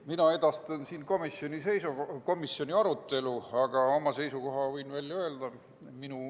Mina edastan siin komisjoni arutelu, aga võin ka oma seisukoha välja öelda.